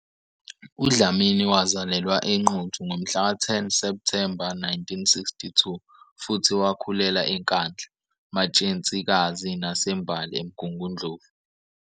UDlamini wazalelwa eNquthu ngomhlaka 10 Septhemba 1962 futhi wakhulela eNkandla, Matshensikazi naseMbali, eMgungundlovu.